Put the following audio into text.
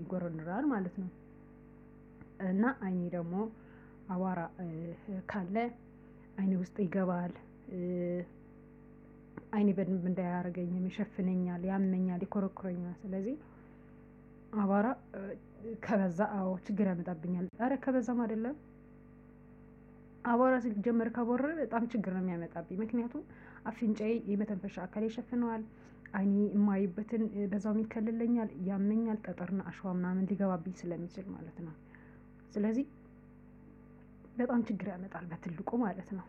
ይጎረርራል ማለት ነው። እና አይኔ ደግሞ አቧራ ካለ አይኔ ውስጥ ይገባል። አይኔ በደንብ እንዳያይ ያደርገኛል ይሸፍነኛል ያመኛል ይኮረኩረኛል ስለዚህ አቧራ ከበዛ አዎ ችግር ያመጣብኛል። ኧረ ከበዛም አይደለም። አቧራ ስልት ጀመር ከቦነነ በጣም ችግር ነው የሚያመጣብኝ። ምክንያቱም አፍንጫዬ የመተንፈሻ አካል ይሸፍነዋል። አይኔ የማይበትን በዛውም ይከልለኛል ያመኛል ጠጠርና አሸዋ ምናምን ሊገባብኝ ስለሚችል ማለት ነው። ስለዚህ በጣም ችግር ያመጣል። በትልቁ ማለት ነው።